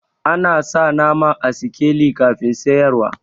Ana sa nama a sikeli kafin siyarwa.